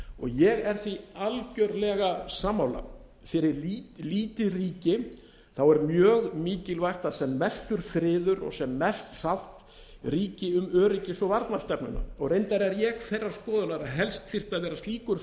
ég er því algjörlega sammála fyrir lítið ríki er mjög mikilvægt að sem mestur friður og sem mest sátt ríki um öryggis og varnarstefnuna reyndar er ég þeirrar skoðunar að helst þyrfti að vera slíkur